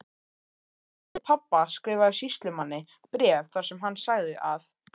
Verjandi pabba skrifaði sýslumanni bréf þar sem hann sagði að